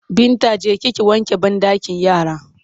Binta je ki ki wanke banɗakin yara!